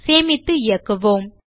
சேமித்து இயக்குவோம்